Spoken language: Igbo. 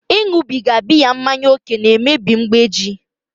Ịṅụbiga biya mmanya ókè na-emebi mgbeji